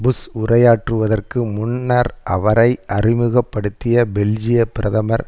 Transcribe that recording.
push உரையாற்றுவதற்கு முன்னர் அவரை அறிமுக படுத்திய பெல்ஜியப் பிரதமர்